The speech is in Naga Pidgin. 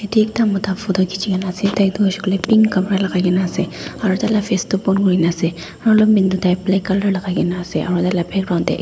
yatte ekta Mota photo khiche kina ase etu hoise koile pink kapara lagai kina ase aru tar laga face bon kori kina ase aru long pant tu black colour lagai kina ase aru tar laga background te ekta--